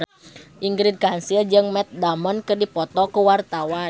Ingrid Kansil jeung Matt Damon keur dipoto ku wartawan